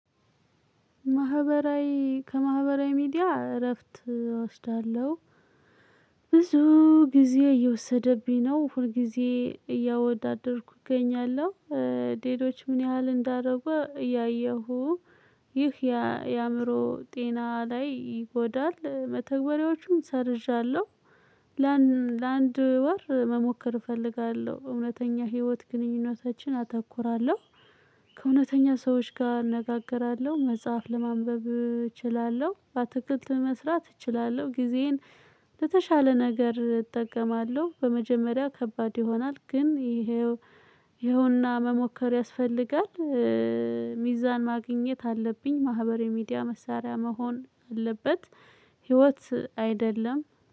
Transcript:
ማህበራዊ ከማህበራዊ ሚዲያ እረፍት እወስዳለሁ። ብዙ ጊዜ እየወሰደብኝ ነው ሁል ጊዜ እያወዳደርኩ እገኛለሁ። ሌሎች ምን ያህል እንዳደረጉ እያየሁ። ይህ የአእምሮ ጤና ላይ ይጎዳል መተግበሪያዎቹም ሰርዣለሁ። ለአንድ ወር መሞከር እፈልጋለሁ እውነተኛ ህይወት ግንኙነታችን አተኩራለሁ። ከእውነተኛ ሰዎች ጋር አነጋግራለሁ መጽሐፍ ለማንበብ እችላለሁ በአትክልት መስራት እችላለሁ። ጊዜዬን ለተሻለ ነገር እጠቀማለሁ። በመጀመሪያ ከባድ ይሆናል ግን። ይኸው ይኸውና መሞከር ያስፈልጋል። ሚዛን ማግኘት አለብኝ ማህበራዊ ሚዲያ መሳሪያ መሆን አለበት። ህይወት አይደለም።